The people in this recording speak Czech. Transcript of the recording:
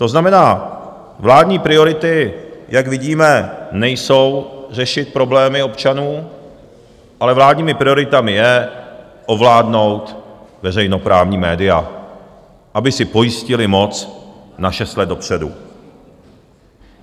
To znamená, vládní priority, jak vidíme, nejsou řešit problémy občanů, ale vládními prioritami je ovládnout veřejnoprávní média, aby si pojistili moc na šest let dopředu.